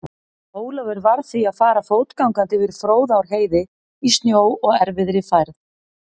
Ólafur varð því að fara fótgangandi yfir Fróðárheiði í snjó og erfiðri færð.